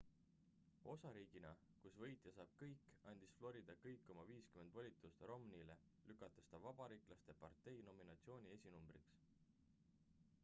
osariigina kus võitja saab kõik andis florida kõik oma viiskümmend volitust romneyle lükates ta vabariiklaste partei nominatsiooni esinumbriks